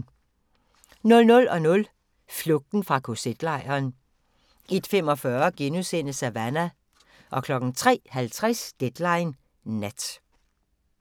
00:00: Flugten fra kz-lejren 01:45: Savannah * 03:50: Deadline Nat